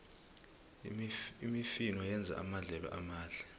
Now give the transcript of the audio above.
imifino yenza amadlelo amahle